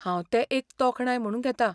हांव तें एक तोखणाय म्हणून घेतां.